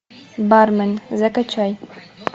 бармен закачай